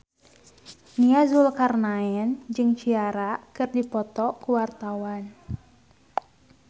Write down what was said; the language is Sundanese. Nia Zulkarnaen jeung Ciara keur dipoto ku wartawan